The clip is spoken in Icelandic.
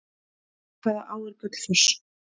Í hvaða á er Gullfoss?